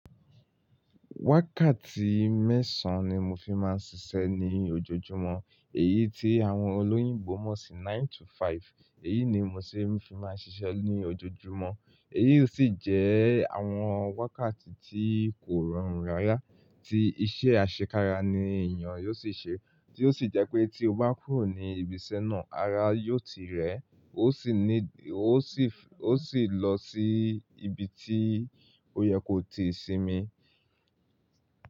Wákàtí mẹ́sàn-án ni mo fi máa ń ṣiṣẹ́ ní ojoojúmọ́, èyí tí àwọn olóyìnbo mọ̀ sí nine to five, èyí ni mo ṣi máa fi ń ṣiṣẹ́ ní ojoojúmọ́. Èyí sì jẹ́ àwọn wákàtí tí kò rọrùn rárá, tí iṣẹ́ àṣekára ni èèyàn yóò sì ṣe, tí ó sì jẹ́ pé tí o bá kúrò ní ibiṣẹ́ náà, ara yóò ti rẹ́, ó sì ní, ó sì f, ó sì lọ sí ibi tí ó yẹ kó ti sinmi.